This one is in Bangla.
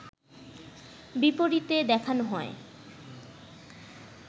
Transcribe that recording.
বিপরীতে দেখানো হয়